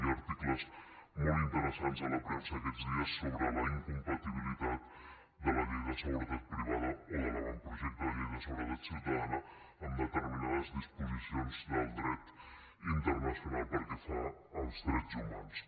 hi ha articles molt interessats a la premsa aquests dies sobre la incompatibilitat de la llei de seguretat privada o de l’avantprojecte de llei de seguretat ciutadana amb determinades disposicions del dret internacional pel que fa als drets humans